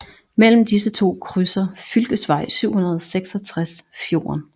Mellem disse to krydser fylkesvej 766 fjorden